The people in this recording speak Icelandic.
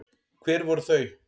Hver voru þau?